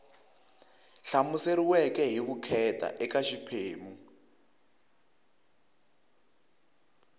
hlamuseriweke hi vukheta eka xiphemu